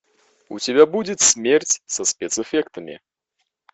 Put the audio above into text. у тебя будет смерть со спецэффектами